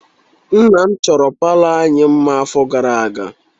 Nna m achọro palọ anyị mma afọ gara aga.